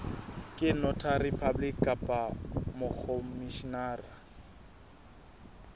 ke notary public kapa mokhomishenara